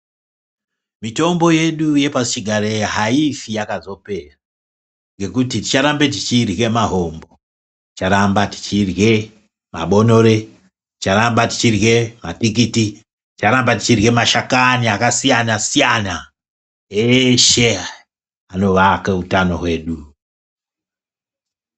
Mitombo yedu yepasichigare haifi yakazopera ngekuti ticharamba tichirye mahombo, ticharamba ichirye mabonore, ticharamba tichirye matikiti, ticharamba tichirye mashakani akasiyana-siyana eshe aya anovake hutano hwedu.